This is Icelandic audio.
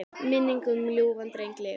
Minning um ljúfan dreng lifir.